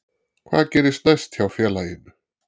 Hvað gerist næst hjá félaginu?